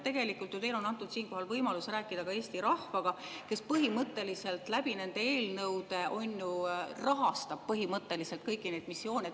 Tegelikult on teile antud siinkohal võimalus rääkida ka Eesti rahvaga, kes põhimõtteliselt läbi nende eelnõude, on ju, rahastab kõiki neid missioone.